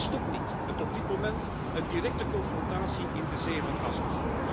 En die stopt niet, met op dit moment een directe confrontatie in de Zee van Azov.